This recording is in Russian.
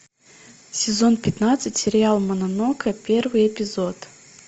сезон пятнадцать сериал мононокэ первый эпизод